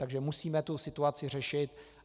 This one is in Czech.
Takže musíme tu situaci řešit.